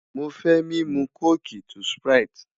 Mo fẹ mimu coke to sprite